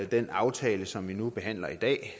den aftale som vi nu behandler i dag